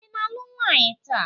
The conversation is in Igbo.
ị na-alụ nwaanyị taa?